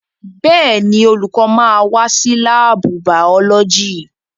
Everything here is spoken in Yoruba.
Bẹ́ẹ̀ni, olùkọ́ máa wá sí láàbù bàọ́lọ́jì